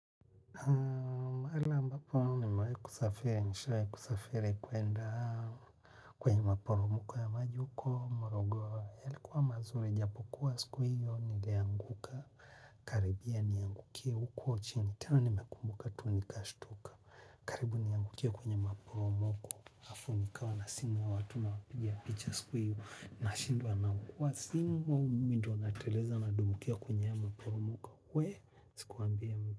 Mahala mbapo nimewai kusafiri nishawai kusafiri kuenda kwenye maporomoko ya maji uko morogo yalikuwa mazuri japo kuwa siku hiyo nilianguka karibia niangukie huko chini tena nimekumbuka tu nikashtuka karibu niangukie kwenye maporomoko afu nikawa na simu ya watu nawapiga picha siku hiyo nashindwa nangukua simu au mimi ndo nateleza nadumbukia kwenye maporomoko wueeh asikuambie mtu.